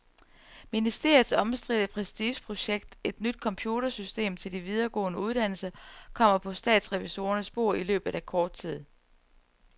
Ministeriets omstridte prestigeprojekt, et nyt computersystem til de videregående uddannelser, kommer på statsrevisorernes bord i løbet af kort tid.